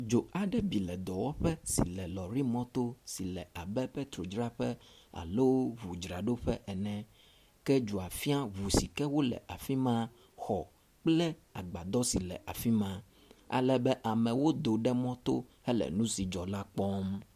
Dzo aɖe bi le dɔwɔƒe si le lɔrimɔto si le abe petrol dzraƒe alo ʋudzraɖoƒe ene, ke dzoa fĩa ʋu sike wo le afima, xɔ kple agbadɔ si le afima ale be amewo do ɖe mɔto hele ŋu si dzɔ la kpɔm.